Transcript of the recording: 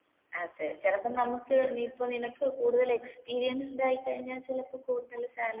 അതെ ചിലപ്പൊ നമ്മുക്ക് നീ ഇപ്പൊ നിനക്ക് കൂടുതൽ experienced ആയിക്കഴിഞ്ഞാ ചിലപ്പൊ കൂടുതൽ salary